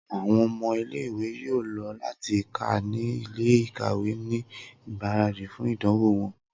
Awọn ọmọ ile-iwe yoo lọ ati ka ni ile-ikawe ni igbaradi fun idanwo wọn.